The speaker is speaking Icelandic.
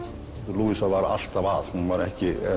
louisa var alltaf að hún var ekki